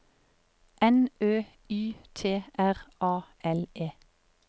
N Ø Y T R A L E